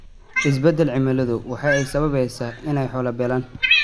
Isbeddelka cimiladu waxa ay sababaysaa in ay xoolo beelaan.